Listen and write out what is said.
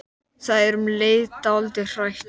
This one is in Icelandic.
Það er um leið dálítið hrætt.